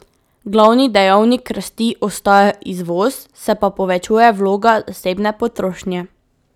Glavni dejavnik rasti ostaja izvoz, se pa povečuje vloga zasebne potrošnje.